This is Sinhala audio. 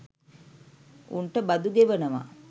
උන්ට බදු ගෙවනවා